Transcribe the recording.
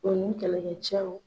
O ni kɛlɛkɛ cɛw.